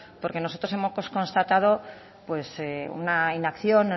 porque nosotros hemos constatado una inacción